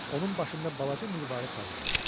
Onun başında balaca mirvari tac var idi.